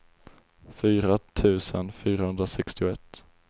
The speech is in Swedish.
fyra tusen fyrahundrasextioett